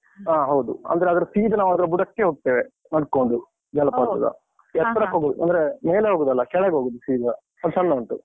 ಆ, ಹೌದು. ಅಂದ್ರೆ ಅದರ ಸೀದಾ ನಾವದರ ಬುಡಕ್ಕೇ ಹೋಗ್ತೇವೆ, ನಡ್ಕೊಂಡು ಅಂದ್ರೆ ಮೇಲೆ ಹೋಗುದಲ್ಲ, ಕೆಳಗೋಗುದು ಸೀದ, ಸ್ವಲ್ಪ್ ಸಣ್ಣ ಉಂಟು.